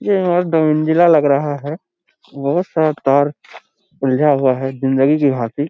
यह दो मंजिला लग रहा है यहाँ सब तार उलझा हुआ है जिंदगी के भाती-